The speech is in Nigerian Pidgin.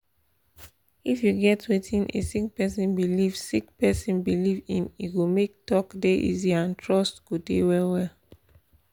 if you get wetin a sick person believe sick person believe in e go make talk dey easy and trust go dey well well